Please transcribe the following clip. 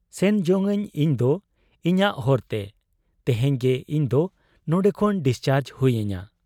ᱥᱮᱱ ᱡᱚᱝ ᱟᱹᱧ ᱤᱧᱫᱚ ᱤᱧᱟᱹᱜ ᱦᱚᱨᱛᱮ ᱾ ᱛᱮᱦᱮᱧ ᱜᱮ ᱤᱧᱫᱚ ᱱᱚᱱᱰᱮ ᱠᱷᱚᱱ ᱰᱤᱥᱪᱟᱨᱡᱽ ᱦᱩᱭ ᱟᱹᱧᱟ ᱾